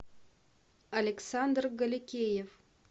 александр голикеев